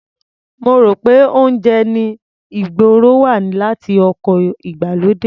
Mo rò pé oúnjẹ ní ìgboro wá láti oko ìgbàlódé.